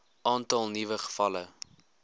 aantal nuwe gevalle